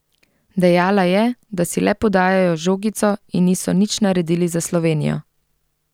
Dejala je, da si le podajajo žogico in niso nič naredili za Slovenijo.